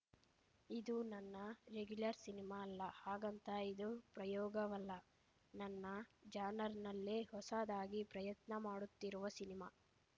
ಇದು ನನ್ನ regular cinema ಅಲ್ಲ ಹಾಗಂತ ಇದು ಪ್ರಯೋಗವಲ್ಲ ನನ್ನ ಜಾನರ್‌ನಲ್ಲೇ ಹೊಸದಾಗಿ ಪ್ರಯತ್ನ ಮಾಡುತ್ತಿರುವ ಸಿನಿಮಾ